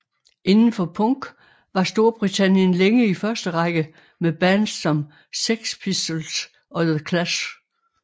Inden for punk var Storbritannien længe i første række med bands som Sex Pistols og The Clash